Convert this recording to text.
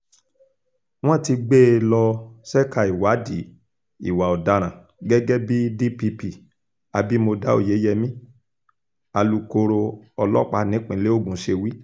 wọ́n ti gbé e lọ ṣẹ́ka ìwádìí ìwà ọ̀daràn gẹ́gẹ́ bí dpp abimodá oyeyèmí alūkkoro ọlọ́pàá nípínlẹ̀ ogun ṣe wí